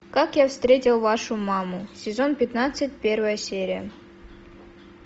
как я встретил вашу маму сезон пятнадцать первая серия